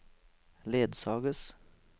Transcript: ledsages